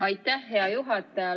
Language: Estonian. Aitäh, hea juhataja!